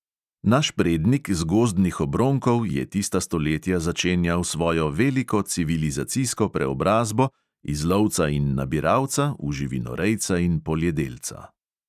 Naš prednik z gozdnih obronkov je tista stoletja začenjal svojo veliko civilizacijsko preobrazbo iz lovca in nabiralca v živinorejca in poljedelca.